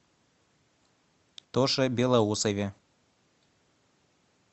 тоше белоусове